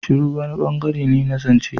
Shiru wani bangare ne na zance.